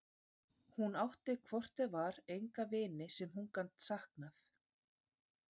Hún átti hvort eð var enga vini sem hún gat saknað.